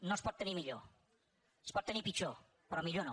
no es pot tenir millor es pot tenir pitjor però millor no